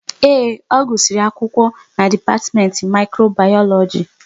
Ee, ọ gusiri akwụkwọ n'dipatimenti Mikrobayoloji